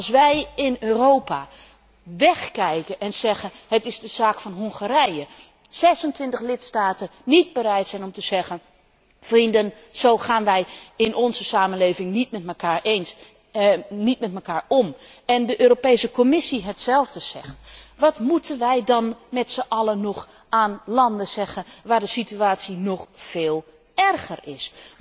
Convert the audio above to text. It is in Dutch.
Als wij in Europa wegkijken en zeggen Het is de zaak van Hongarije, als 26 lidstaten niet bereid zijn te zeggen Vrienden, zo gaan wij in onze samenleving niet met mekaar om, en als de Europese Commissie hetzelfde zegt, wat moeten wij dan met z'n allen nog aan landen zeggen waar de situatie nog veel erger is?